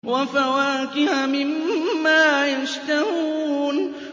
وَفَوَاكِهَ مِمَّا يَشْتَهُونَ